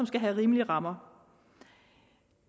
skal have rimelige rammer